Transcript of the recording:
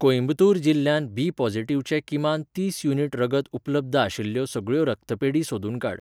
कोइंबतूर जिल्ल्यांत बी पोझिटिव्हचे किमान तीस युनिट रगत उपलब्ध आशिल्ल्यो सगळ्यो रक्तपेढी सोदून काड.